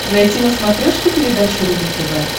найти на смотрешке передачу рубль тв